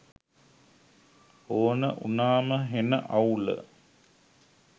ඕන උනාම හෙන අවුල